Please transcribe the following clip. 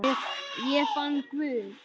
Ég fann Guð.